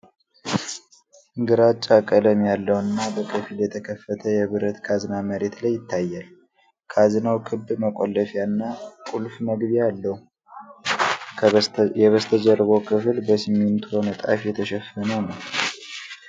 ግራጫ ቀለም ያለው እና በከፊል የተከፈተ የብረት ካዝና መሬት ላይ ይታያል። ካዝናው ክብ መቆለፊያና ቁልፍ መግቢያ አለው። የበስተጀርባው ክፍል በሲሚንቶ ንጣፍ የተሸፈነ ነው።